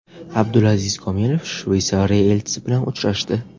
Abdulaziz Komilov Shveysariya elchisi bilan uchrashdi.